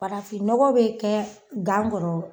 Farafinnɔgɔ bɛ kɛ gan kɔrɔ